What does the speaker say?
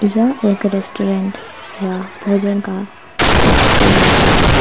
यह एक रेस्टोरेंट या भोजन का कक्ष का दृश्य है।